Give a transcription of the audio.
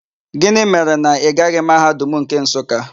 Gịnị mere na ị gaghị Mahadum nke Nsụka?